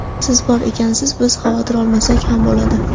Siz bor ekansiz, biz xavotir olmasak ham bo‘ladi.